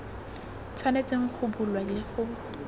tshwanetseng go bulwa le go